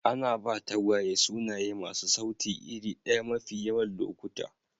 Ana ba tagwaye sunaye masu sauti iri ɗaya mafi yawan lokuta.